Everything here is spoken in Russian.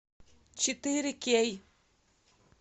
четыре кей